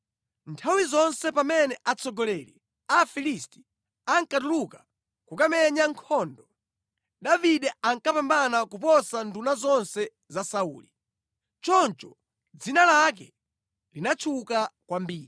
Nthawi zonse pamene atsogoleri a Afilisti ankatuluka kukamenya nkhondo, Davide ankapambana kuposa nduna zonse za Sauli. Choncho dzina lake linatchuka kwambiri.